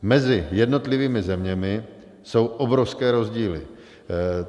Mezi jednotlivými zeměmi jsou obrovské rozdíly.